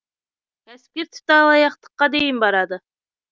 кәсіпкер тіпті алаяқтыққа дейін барады